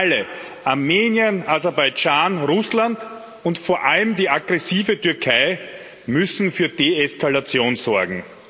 Alle Armenien, Aserbaidschan, Russland, und vor allem die aggressive Türkei müssen für Deeskalation sorgen.